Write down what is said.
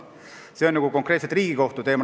See on konkreetselt Riigikohtu teema.